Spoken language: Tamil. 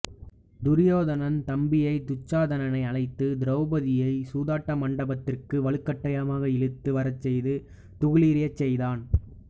துரியோதனன் தம்பி துச்சாதனனை அழைத்து திரௌதியை சூதாட்ட மண்டபத்திற்கு வழுக்கட்டாயமாக இழுத்து வரச்செய்து துகிலுரியச் செய்தான்